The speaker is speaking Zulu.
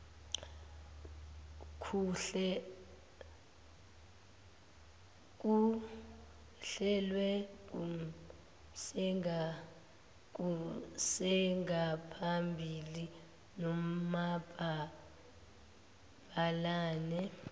kuhlelwe kusengaphambili nomabhalane